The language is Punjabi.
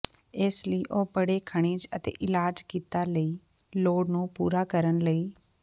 ਇਸ ਲਈ ਉਹ ਬੜੇ ਖਣਿਜ ਅਤੇ ਇਲਾਜ ਕੀਤਾ ਲਈ ਲੋੜ ਨੂੰ ਪੂਰਾ ਕਰਨ ਲਈ